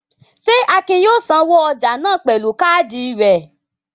Ṣé Akin yóò sanwó ọjà náà pẹ̀lú káádì rẹ̀?